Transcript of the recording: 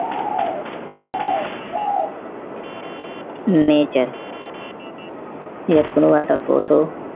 nature ইয়াত কোনোবা এটা photo